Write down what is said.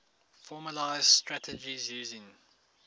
formalised strategies using